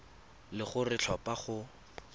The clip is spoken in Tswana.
le gore o tlhopha go